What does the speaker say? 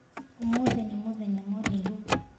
Ũmũthĩ nĩ mũthenya mũraihu.